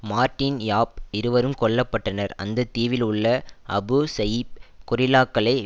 Martin Yap இருவரும் கொல்ல பட்டனர் அந்த தீவில் உள்ள அபு சயீப் கொரில்லாக்களை